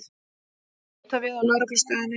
Líta við á Lögreglustöðinni.